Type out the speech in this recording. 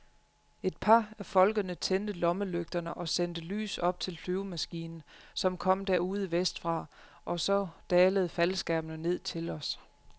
Et par af folkene tændte lommelygterne og sendte lys op til flyvemaskinen, som kom derude vestfra, og så dalede faldskærmene ned til os.